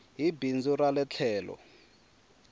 hi bindzu ra ie tlhelo